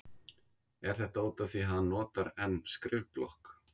Er þetta útaf því að hann notar enn skrifblokk?